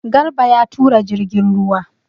Garba ya tura jirgin ruwa.